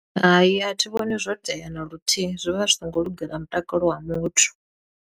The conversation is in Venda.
Hai, a thi vhoni zwo tea na luthihi zwi vha zwi songo lugela mutakalo wa muthu.